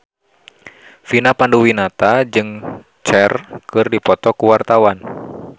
Vina Panduwinata jeung Cher keur dipoto ku wartawan